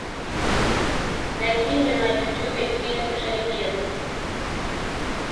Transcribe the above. найди мне на ютюбе фильм жеребец